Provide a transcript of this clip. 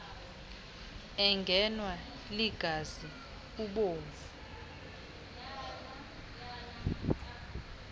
engenwa ligazi ubovu